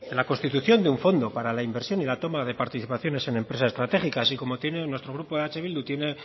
la constitución de un fondo para la inversión y la toma de participaciones en empresas estratégicas y como tiene nuestro grupo eh bildu tiene